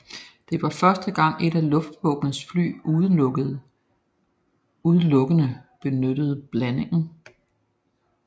Det var første gang et af luftvåbenets fly udelukkende benyttede blandingen